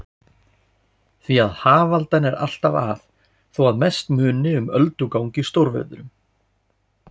Því hafaldan er alltaf að, þó að mest muni um öldugang í stórviðrum.